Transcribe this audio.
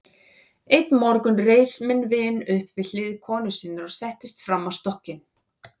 Einn morgun reis minn vin upp við hlið konu sinnar og settist framan á stokkinn.